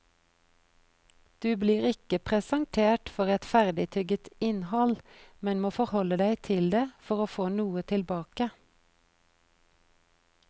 Du blir ikke presentert for et ferdigtygget innhold, men må forholde deg til det for å få noe tilbake.